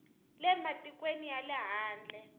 le matikweni ya le handle